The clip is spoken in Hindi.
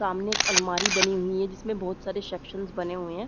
सामने एक अलमारी बनी हुई है जिसमें बोहोत सारे शेकशंस बने हुए हैं।